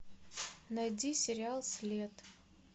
найди сериал след